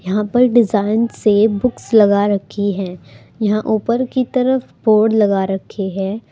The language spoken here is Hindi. यहां पर डिजाइन से बुक्स लगा रखी है यहां ऊपर की तरफ बोर्ड लगा रखे हैं।